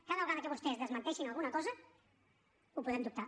cada vegada que vostès desmenteixin alguna cosa ho podem dubtar